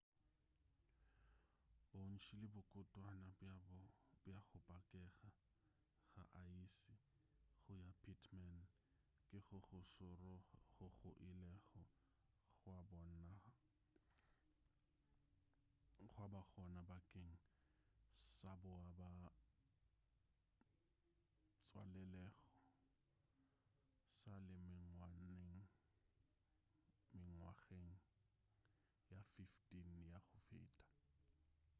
bontši le bokotwana bja go pakega ga aese go ya pittman ke go go šoro goo go ilego gwa ba gona bakeng sa boa ba tswalelago sa le mengwageng ye 15 ya go feta